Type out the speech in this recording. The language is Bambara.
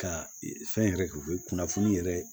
Ka fɛn yɛrɛ kɛ u bɛ kunnafoni yɛrɛ